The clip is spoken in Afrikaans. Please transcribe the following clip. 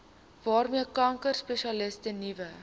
waarmee kankerspesialiste nuwe